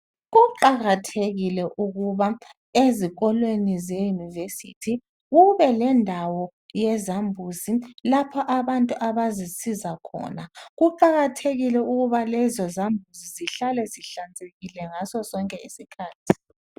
Kuqakathekile ukuba ezikolweni zeyunivesithi kube lendawo yezambuzi lapho abantu abazisiza khona. Kuqakathekile ukuba lezo zambuzi zihlale zihlanzekile ngaso sonke isikhathi.